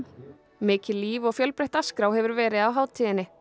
mikið líf og fjölbreytt dagskrá hefur verið á hátíðinni